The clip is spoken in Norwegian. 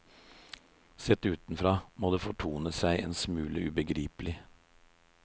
Sett utenfra, må det fortone seg en smule ubegripelig.